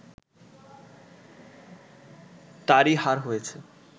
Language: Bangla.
তারই হার হয়েছে